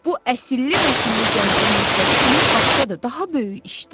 "Bu əsilli-nəcilli cənabın məqsədi tamam başqadır, daha böyük işdir."